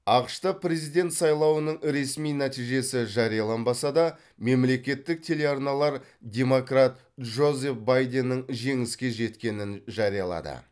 ақш та президент сайлауының ресми нәтижесі жарияланбаса да мемлекеттік телеарналар демократ джозеф байденнің жеңіске жеткенін жариялады